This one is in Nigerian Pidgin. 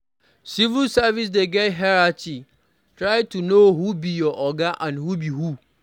Civil service dey get hierarchy, try to know who be your oga and who be who